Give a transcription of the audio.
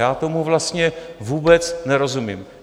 Já tomu vlastně vůbec nerozumím.